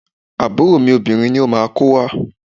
Àbúrò obìnrin mi ni ó máa ko wá.